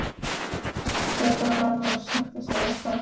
Petra verður að sætta sig við það.